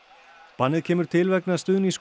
bannið kemur til vegna stuðnings